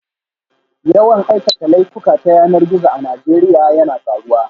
Yawan aikata laifuka ta yanar gizo a Najeriya yana karuwa